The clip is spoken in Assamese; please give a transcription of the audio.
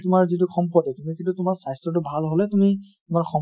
তোমাৰ যিটো সম্পত্তি তোমাৰ স্বাস্থ্য়টো ভাল হʼলে তুমি তোমাৰ